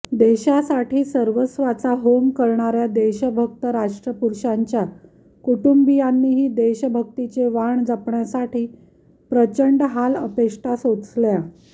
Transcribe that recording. देशासाठी सर्वस्वाचा होम करणाऱया देशभक्त राष्ट्रपुरुषांच्या कुटुंबीयांनीही देशभक्तीचे वाण जपण्यासाठी प्रचंड हालअपेष्टा सोसल्या